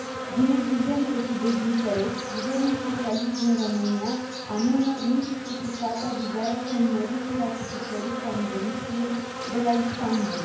Din neglijență și dezinteres, guvernul socialist din România amână nejustificat avizarea semnării și ratificării Convenției de la Istanbul.